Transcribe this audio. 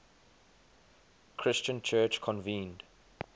christian church convened